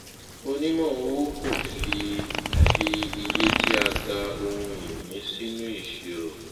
onímọ owó kò fi fi iye tí a tà ohunìní sínú ìṣirò